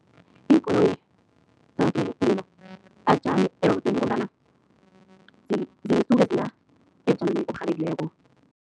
Iinkoloyi azijami erobodini ngombana zisuke ziya ebujameni oburhabekileko.